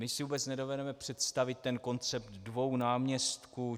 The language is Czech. My si vůbec nedovedeme představit ten koncept dvou náměstků.